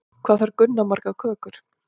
Hvað þarf Gunna margar kökur?